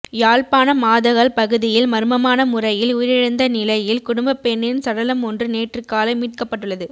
யாழ்ப்பாணம் மாதகல் பகுதியில் மர்மமான முறையில் உயிரிழந்த றிலையில் குடும்பப் பெண்ணின் சடலமொன்று நேற்றுக்காலை மீட்கப்பட்டுள்ளது